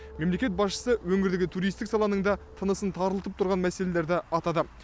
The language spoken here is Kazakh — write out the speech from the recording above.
мемлекет басшысы өңірдегі туристік саланың да тынысын тарылтып тұрған мәселелерді атады